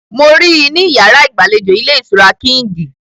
Mo rí i ní yàrá ìgbàlejò ilé-ìtura Kíǹgì.